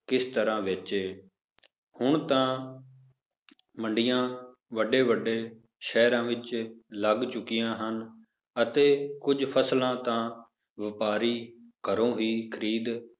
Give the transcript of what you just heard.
ਕਿਸ ਤਰ੍ਹਾਂ ਵੇਚੇ ਹੁਣ ਤਾਂ ਮੰਡੀਆਂ ਵੱਡੇ ਵੱਡੇ ਸ਼ਹਿਰਾਂ ਵਿੱਚ ਲੱਗ ਚੁੱਕੀਆਂ ਹਨ, ਅਤੇ ਕੁੱਝ ਫਸਲਾਂ ਤਾਂ ਵਾਪਾਰੀ ਘਰੋਂ ਵੀ ਖ਼ਰੀਦ